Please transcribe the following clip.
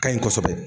Ka ɲi kosɛbɛ